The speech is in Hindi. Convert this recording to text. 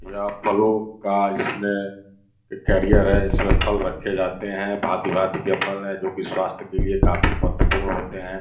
यह फलों का इसमें कैरियर है इसमें फल रखे जाते हैं भांति-भांति के फल हैं जो कि स्वास्थ के लिए काफी महत्वपूर्ण होते हैं।